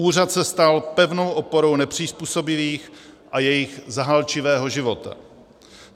Úřad se stal pevnou oporou nepřizpůsobivých a jejich zahálčivého života.